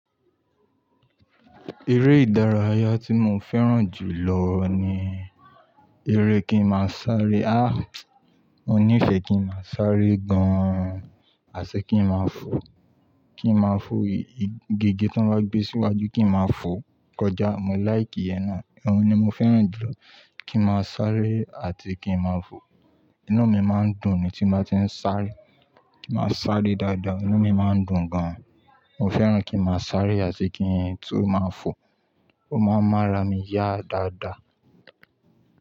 Eré ìdárayá tí mo fẹ́ràn jù lọ ní eré kí n máa sáré. Áà! Mo nífẹ̀ẹ́ kí n máa sáré gan-an, àti kí n máa fò. Kí n máa fò igi gé tí wọ́n bá gbé síwájú, kí n máa fò kọjá. Mo like iyen náà, òhun ni mo fẹ́ràn jù lọ. Kí n máa sáré àti kí n máa fò. Inú mi máa ń dùn ni tí n bá ti ń sáré. Kí n máa sáré dáadáa, inú mi máa ń dùn gan-an. Mo fẹ́ràn kí n máa sáré àti kí ń tún máa fò. Ó máa ń mára mi yá dáadáa.